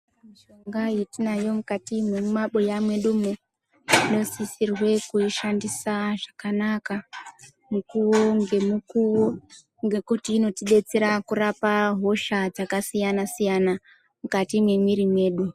Pane mishonga yetinayo mukati memumaabuya mwedumo, tinosisirwe kuishandisa zvakanaka mukuwo ngemukuwo ngekuti inotidetsera kurapa hosha dzakasiyana-siyana mukati memwiri medu.